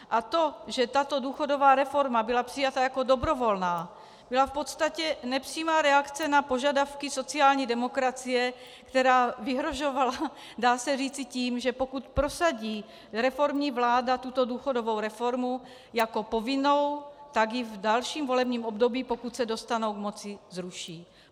A to, že tato důchodová reforma byla přijata jako dobrovolná, byla v podstatě nepřímá reakce na požadavky sociální demokracie, která vyhrožovala, dá se říci, tím, že pokud prosadí reformní vláda tuto důchodovou reformu jako povinnou, tak ji v dalším volebním období, pokud se dostane k moci, zruší.